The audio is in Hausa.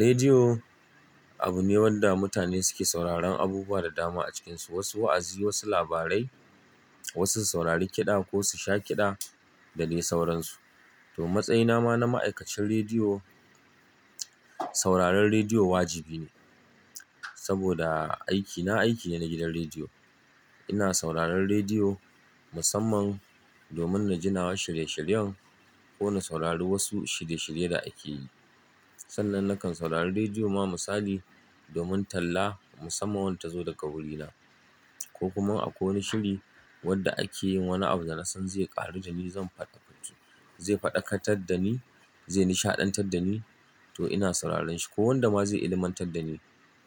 Rediyo abu ne wanda mutane suke sauraron abubuwa da dama a cikinsu, wasu wa'azi, wasu labarai, wasu saurari kiɗa ko su sha kiɗa da dai sauransu. To matsayina ma na ma'aikacin rediyo, sauraron rediyo wajibi ne saboda aikina aiki ne na gidan rediyo. Ina sauraron rediyo musamman domin na jinawa shirye-shiryen ko na saurari wasu shirye-shirye da ake yi. Sannan nakan saurari rediyo ma misali domin talla musamman wadda tazo daga wurina ko kuma akwai wani shiri wanda ake yin wani abu da na san zai ƙaru da ni, zan fa'idantu, zai faɗakar dani, zai nishaɗantar dani to ina sauraron shi ko wanda ma zai ilimantar dani